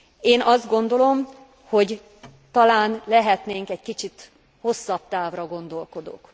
Én azt gondolom, hogy talán lehetnénk egy kicsit hosszabb távra gondolkodók.